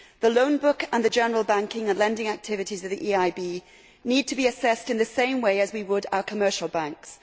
The loan book and the general banking and lending activities of the EIB need to be assessed in the same way as we would assess our commercial banks.